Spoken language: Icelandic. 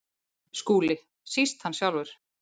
SKÚLI: Síst hann sjálfur.